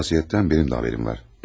Bu vəsiyyətdən mənim də xəbərim var.